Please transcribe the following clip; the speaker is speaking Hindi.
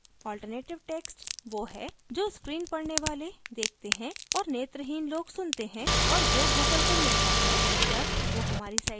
alternative text वो है जो screen पढ़ने वाले देखते हैं और नेत्रहीन लोग सुनते हैं और जो google को मिलता है जब वो हमारी site पर देखता है